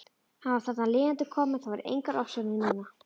Hann var þarna lifandi kominn, það voru engar ofsjónir núna!